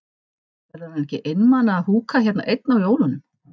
Verður hann ekki einmana að húka hérna einn á jólunum?